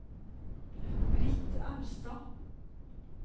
Britt Austad